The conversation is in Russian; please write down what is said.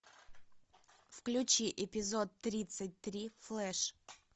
включи эпизод тридцать три флэш